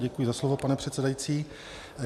Děkuji za slovo, pane předsedající.